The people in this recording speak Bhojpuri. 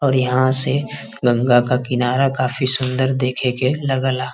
और यहाँ से गंगा का किनारा काफी सुंदर देखे के लगला।